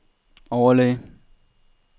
overlæge